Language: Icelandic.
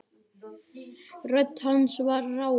Rödd hans var rám.